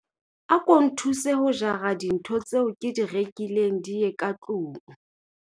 Ako nthuse ho jara dintho tseo ke di rekileng di ye ka tlong.